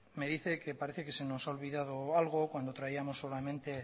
me dice que parece que se nos ha olvidado algo cuando traíamos solamente